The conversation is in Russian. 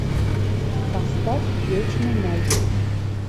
поставь вечный ноль